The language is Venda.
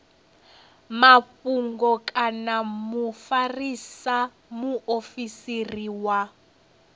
mafhungo kana mufarisa muofisiri wa